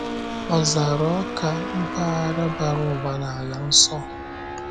Ọzara Awka, mpaghara bara ụba n’Ala Nsọ.